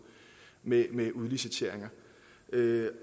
med med udliciteringer